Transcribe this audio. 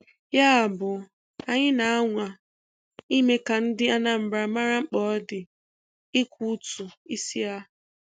Yabụ, anyị na-anwa ime ka ndị Anambra mara mkpa ọ dị ịkwụ ụtụ isi ha.'